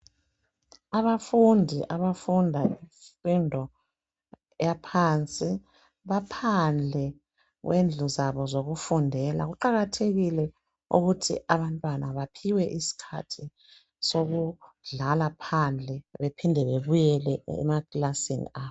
Abafundi abafunda imfundo eyaphansi baphandle kwendlu zabo zokufundela. Kuqakathekile ukuthi abantwana baphiwe isikhathi sokudlala phandle bephinde babuyele emakilasini abo.